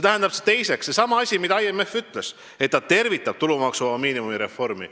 Teiseks, seesama asi, mida IMF ütles, et ta tervitab tulumaksuvaba miinimumi reformi.